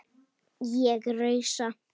Ég rausa.